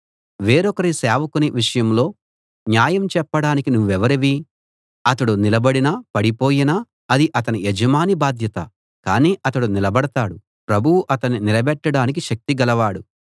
వేరొకరి సేవకుని విషయంలో న్యాయం చెప్పడానికి నువ్వెవరివి అతడు నిలబడినా పడిపోయినా అది అతని యజమాని బాధ్యత కాని అతడు నిలబడతాడు ప్రభువు అతణ్ణి నిలబెట్టడానికి శక్తి గలవాడు